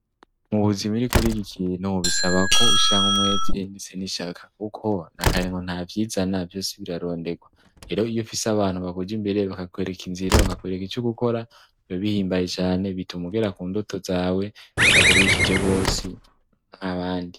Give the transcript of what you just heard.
Mubuzima iyo uriko uriga ikintu bisaba ko ushiramwo umweti ndetse n'ishaka kuko nakarengo nta vyizana vyose birarondegwa rero iyo ufise abantu bakuja imbere bakakwereka inzira bakakwereka ico gukora biba bihimbaye cane bituma ugera ku ndoto zawe bitakurushije gosi nkabandi.